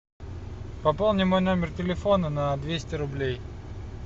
пополни мой номер телефона на двести рублей